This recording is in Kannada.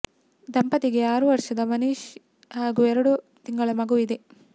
ದಂಪತಿಗೆ ಆರು ವರ್ಷದ ಮನೀಶ್ ಹಾಗೂ ಎರಡು ತಿಂಗಳ ಮಗು ಇದೆ